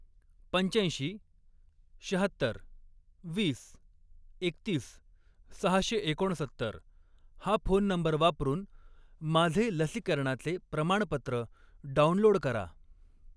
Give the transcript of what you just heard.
पंच्याऐंशी, शहात्तर, वीस, एकतीस, सहाशे एकोणसत्तर हा फोन नंबर वापरून माझे लसीकरणाचे प्रमाणपत्र डाउनलोड करा.